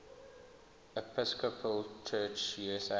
episcopal church usa